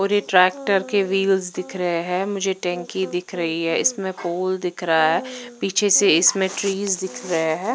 और ट्रेक्टर के व्हील्स दिख रहे है मुझे टंकी दिखा रही है इसमें होल दिख रहे है पीछे से इसमें ट्रीज दिख रहे है ।